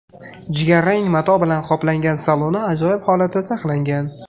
Jigarrang mato bilan qoplangan saloni ajoyib holatda saqlangan.